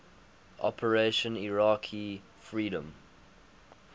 operation iraqi freedom